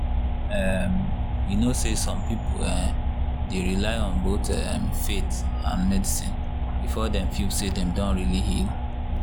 um you know say some people um dey rely on both um faith and medicine before dem feel say dem don really heal.